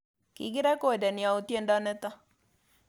Kikirekodeni au tyendo nito